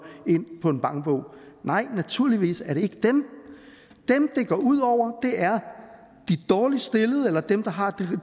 ind på en bankbog nej naturligvis er det ikke dem dem det går ud over er de dårligst stillede eller dem der har